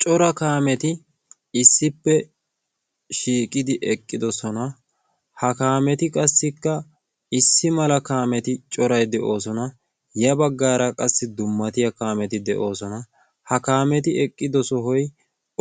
Cora kaameti issippe shiiqidi eqqidosona. Ha kaameti qassikka issi mala kaameti corayi de"oosona. Ya bagaara qassi dummatiya kaameti de"oosona. Ha kaameti eqqido sohoyi